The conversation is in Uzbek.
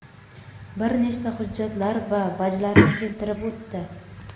bir nechta hujjatlar va vajlarni keltirib o‘tdi.